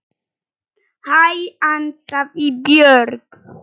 Hæ, ansaði Björg.